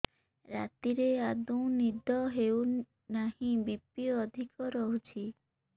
ରାତିରେ ଆଦୌ ନିଦ ହେଉ ନାହିଁ ବି.ପି ଅଧିକ ରହୁଛି